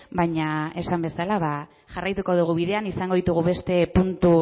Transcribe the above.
baina esan bezala jarraituko dugu bidean izango ditugu beste puntu